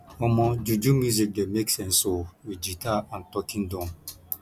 omo juju music dey make sense o wit guitar and talking drum